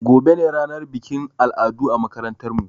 Gobe ne ranar bikin al'adu a makarantar mu